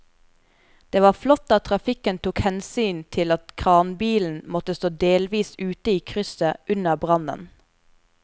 Det var flott at trafikken tok hensyn til at kranbilen måtte stå delvis ute i krysset under brannen.